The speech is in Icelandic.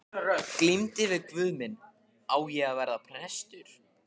Glímdi við guð minn: Á ég að verða prestur?